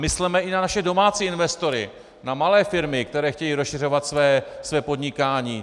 Mysleme i na naše domácí investory, na malé firmy, které chtějí rozšiřovat své podnikání.